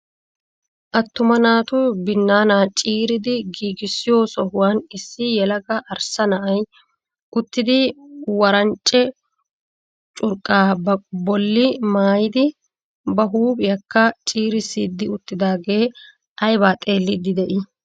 Attuma naatu binaana ciiridi giigissoyo sohuwan issi yelaga arssa na'ay uttidi wanccare curqqa ba bolli maayidi ba huuphiyakka cirissidi uttidaage aybba xeelidi de'ii?